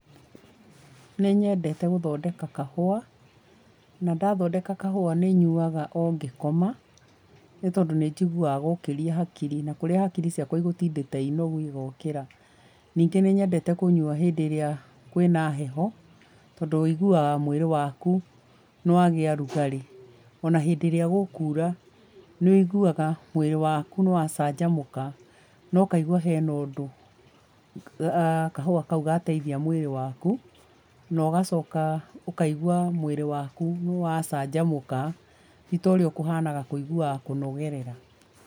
Nĩnyendete gũthondeka kahũa, na ndathondeka kahũa nĩyuaga o ngĩkoma nĩ tondũ nĩnjiguaga gokĩrĩa hakiri na harĩa hakiri ciakwa cigũtindĩte i nogu igokĩra. Nĩngĩ nĩnyendete kũnyua hĩndĩ ĩrĩa kwĩ na heho tondũ wĩiguaga mwĩrĩ waku nĩ wagĩa rugarĩ o na hĩndĩ ĩrĩa gũkuura nĩwĩiguaga mwĩrĩ wakũ nĩwacanjamũka na ũkaigua he na ũndũ kahũa ka u gateithia mũĩrĩ waku, na ũgacoka ũkaigua mũĩrĩ waku nĩwacanjamũka ti taũrĩa ũkũhana kũiguaga kũnogerera.